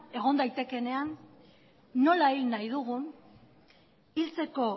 egon daitekeenean nola hil nahi dugun hiltzeko